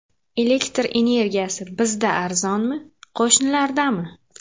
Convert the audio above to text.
Elektr energiyasi bizda arzonmi, qo‘shnilardami?